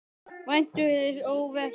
Væntu hins óvænta.